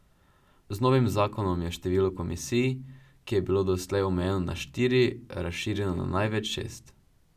Z novim zakonom je število komisij, ki je bilo doslej omejeno na štiri, razširjeno na največ šest.